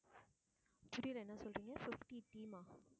புரியல என்ன சொல்றீங்க fifty team ஆ?